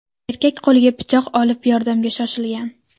Erkak qo‘liga pichoq olib, yordamga shoshilgan.